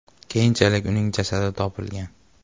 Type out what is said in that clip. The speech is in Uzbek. Keyinchalik uning jasadi topilgan.